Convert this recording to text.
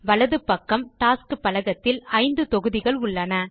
வலது பக்கம் டாஸ்க்ஸ் பலகத்தில் 5 தொகுதிகள் உள்ளன